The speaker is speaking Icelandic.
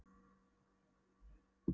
Og það er ritgerðin þín, Ragnhildur mín!